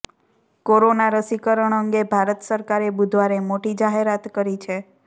corona રસીકરણ અંગે ભારત સરકારે બુધવારે મોટી જાહેરાત કરી છે